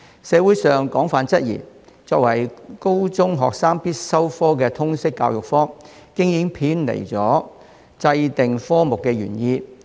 社會上廣泛質疑，作為高中學生必修科的通識教育科，已經偏離制訂科目的原意。